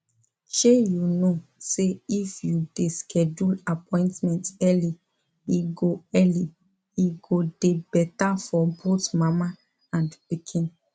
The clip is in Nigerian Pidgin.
shey you know say if you de schedule appointment early e go early e go de better for both mama and pikin